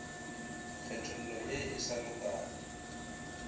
kgethollo ye e sa lokago